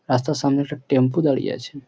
রাস্তার সামনে একটা টেম্পু দাঁড়িয়ে আছে।